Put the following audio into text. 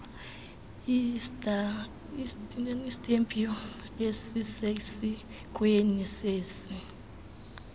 istampu esisesikweni sesi